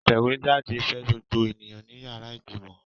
Atẹ̀wéjáde fẹ́ gbogbo ènìyàn ní yàrá ìgbìmọ̀.